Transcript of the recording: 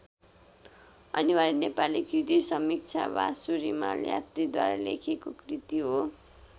अनिवार्य नेपाली कृतिसमीक्षा वासु रिमाल यात्रीद्वारा लेखिएको कृति हो।